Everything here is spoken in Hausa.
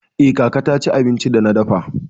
Eh, kaka ta ci abincin da na dafa.